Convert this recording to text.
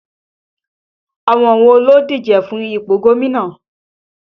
Àwọn wo ló ń díje fún ipò gómìnà?